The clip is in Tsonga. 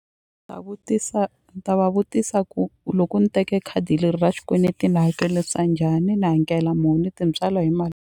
Ta vutisa ni ta va vutisa ku loko ni teke khadi leri ra xikweleti ni hakelisa njhani ni hakela muni tintswalo hi mali.